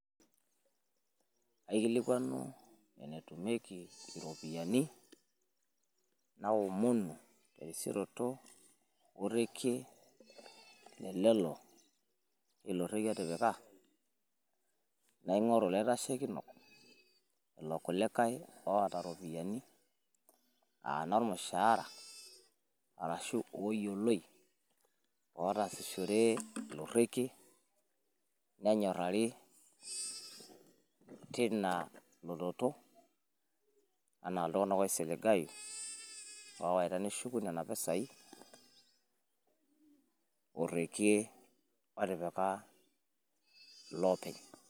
aikilikuanu enetumieki iropiyiani, naomonu terisioroto orekie otipika. naing'oru ilaitashekinok, lelo kulikae, oota ropiyiani, aa inormushaara, arashu ooyioloi, oootasihore ilo rekie. nenyorari teina lototo anaa iltunaganak oisiligayu oowaita neshuku nena ropiyiani. torekie otiika iloopeny.